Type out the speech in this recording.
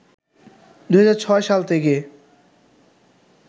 ২০০৬ সাল থেকে